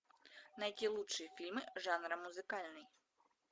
найти лучшие фильмы жанра музыкальный